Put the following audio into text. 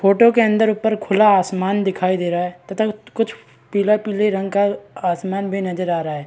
Photo के अंदर ऊपर खुला आसमान दिखाई दे रहा है तथा कुछ पीले-पीले रंग का आसमान भी नजर आ रहा है।